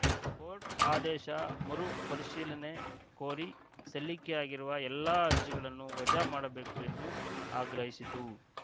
court ಆದೇಶ ಮರುಪರಿಶೀಲನೆ ಕೋರಿ ಸಲ್ಲಿಕೆಯಾಗಿರುವ ಎಲ್ಲ ಅರ್ಜಿಗಳನ್ನು ವಜಾ ಮಾಡಬೇಕು ಎಂದು ಆಗ್ರಹಿಸಿತು